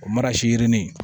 O yirini